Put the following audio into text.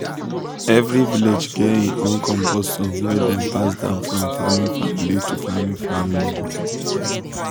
every village get im own compost song wey dem pass down from farming family to farming family.